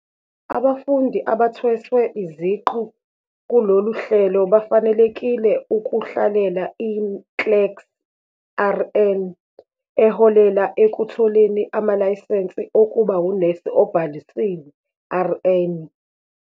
Abafundi abathweswe iziqu kulolu hlelo bafanelekile ukuhlalela i-NCLEX-RN eholela ekutholeni amalayisensi okuba unesi obhalisiwe, RN.